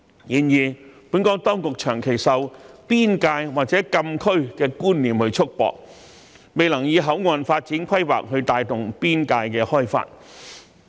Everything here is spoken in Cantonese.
然而，本港當局卻長期受"邊界"或"禁區"的觀念束縛，未能以口岸發展規劃帶動邊界開發。